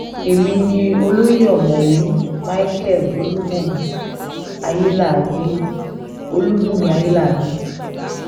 èmi ni olóye ọ̀mọ̀wé micheal olùbùnmi ayéláàgbẹ̀ olùbùnmi ayéláàgbẹ̀